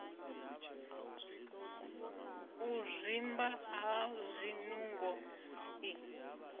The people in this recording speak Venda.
u zwimba ha zwinungo i